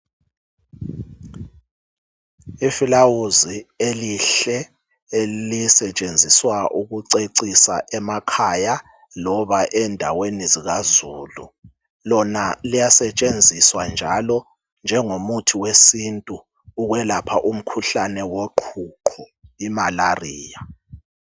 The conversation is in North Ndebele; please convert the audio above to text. Ifulawuzi elihle elisetshenziswa ukucecisa emakhaya loba endaweni zikazulu. Lona liyasetshenziswa njalo njengomuthi wesintu ukwelapha umkhuhlane woqhuqho, i"malaria".